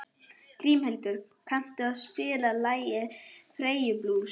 Grímhildur, kanntu að spila lagið „Færeyjablús“?